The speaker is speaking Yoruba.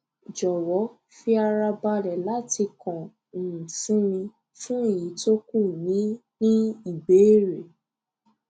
jọwọ fi ara balẹ láti kàn um sí mi fún èyí tó kù ní ní ìbéèrè